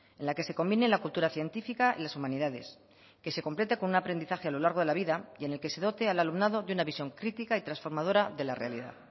en la que se convine la cultura científica y las humanidades que se complete con un aprendizaje a lo largo de la vida y en el que se dote al alumnado de una visión crítica y trasformadora de la realidad